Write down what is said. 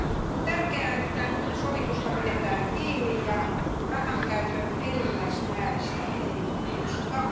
On tärkeää, että nyt sovitusta pidetään kiinni ja rahankäytön enimmäismääristä ei lipsuta.